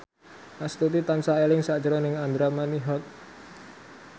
Astuti tansah eling sakjroning Andra Manihot